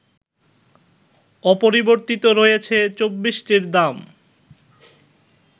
অপরিবর্তিত রয়েছে ২৪টির দাম